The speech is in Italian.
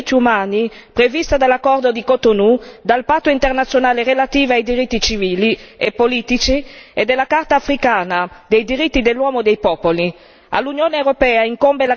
È il vincolo della clausola dei diritti umani prevista dall'accordo di Cotonou, dal Patto internazionale relativo ai diritti civili e politici e dalla Carta africana dei diritti dell'uomo e dei popoli.